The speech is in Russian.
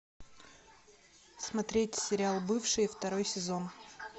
смотреть сериал бывшие второй сезон